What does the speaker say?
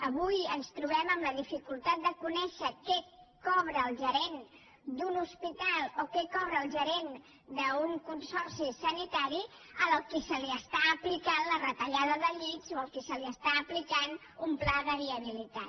avui ens trobem amb la dificultat de conèixer què cobra el gerent d’un hospital o què cobra el gerent d’un consorci sanitari al qual s’aplica la retallada de llits o al qual s’aplica un pla de viabilitat